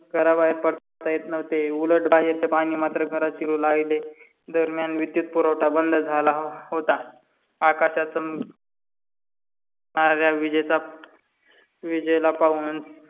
घरा बाहेर पडता येत नव्हते. उलट बाहेरच पानी मात्र घरात शिरू लागले, दरम्यान विदूत पुरवठा बंद झाला होता. आकाशाच विजेल पाहून.